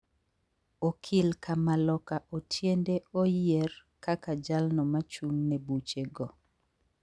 Okil kamaloka Otiende oyie r kaka jalno machung ne buche go